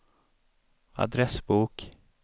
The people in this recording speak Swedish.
adressbok